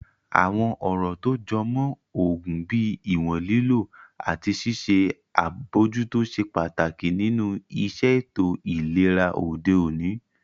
Àwọn ọ̀rọ̀ tó jọ mọ́ oògùn bíi ìwọ̀n lílò àti ṣíṣe àbojútó ṣe pàtàkì nínu iṣẹ́ ètò ìlera òde òní